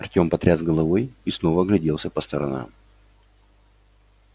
артём потряс головой и снова огляделся по сторонам